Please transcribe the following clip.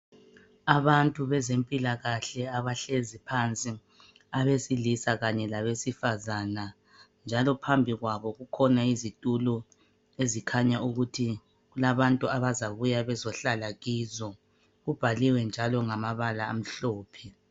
Abantu bezempilakahle abahlezi phansi abesilisa kanye labesifazana njalo phambi kwabo kukhona izitulo ezikhanya ukuthi kulabantu abazabuya bezohlala kizo kubhaliwe njalo ngamabala amhlophe